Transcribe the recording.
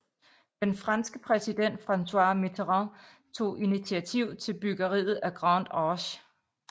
Den franske præsident François Mitterrand tog initiativ til byggeriet af Grande Arche